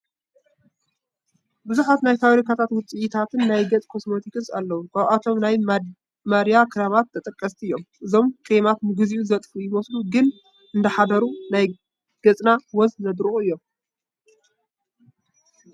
ብዙሓት ናይ ፋብሪካ ውፅኢታት ናይ ገፅ ኮስሞቲክስ ኣለው፡፡ ካብኣቶም ናይ ማድያት ክሬማት ተጠቀስቲ እዮም፡፡ እዞም ክሬማት ንግዚኡ ዘጥፍኡ ይመስሉ ግን እንዳሓደሩ ናይ ገፅና ወዝ ዘድርቑ እዮም፡፡